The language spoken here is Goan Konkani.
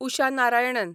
उशा नारायणन